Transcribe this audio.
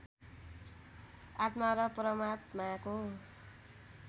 आत्मा र परमात्माको